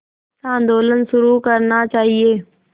आंदोलन शुरू करना चाहिए